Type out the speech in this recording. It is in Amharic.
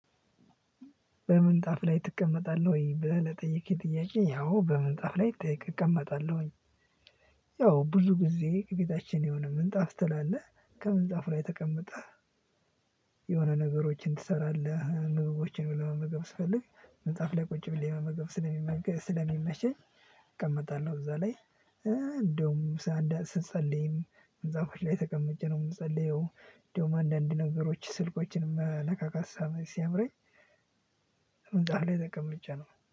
በምን ጣፍ ላይ ትቀመጣለህ ወይ? ብለህ ጠይቄ ጥያቄ ያው በምን ጣፍ ላይ እቀመጣለሁ። ያው ብዙ ጊዜ ከቤታችን የሆነ ምንጣፍ ትላለህ ከምንጣፉ ላይ ተቀመጠ። የሆነ ነገሮችን ትሰራለህ ምግቦችን ለመመገብ ስፈልግ ምንጣፍ ላይ ቁጭ ብለህ ለመመገብ ስለሚመሸኝ እቀመጣለሁ እዛ ላይ። እንደውም ስንጸልይም እንደውም ምንጣፍች ላይ ተቀምጬ ነው የምጸልየው። እንደውም አንዳንድ ነገሮች ስልኮችንም መነካካት ሲያምረኝ ደግሞ ምንጣፍ ላይ ተቀምጬ ነው